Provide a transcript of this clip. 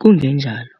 Kungenjalo,